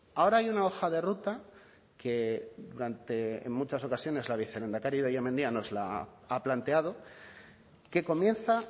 ahora hay una hoja de ruta que durante en muchas ocasiones la vicelehendakari idoia mendia nos la ha planteado que comienza